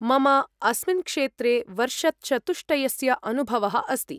मम अस्मिन् क्षेत्रे वर्षचतुष्टयस्य अनुभवः अस्ति।